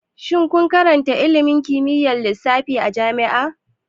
Shin kun karanta ilimin kimiyyar lissafi a jami'a?